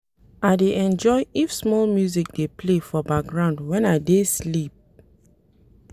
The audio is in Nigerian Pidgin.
I dey enjoy if small music dey play for background wen I dey sleep.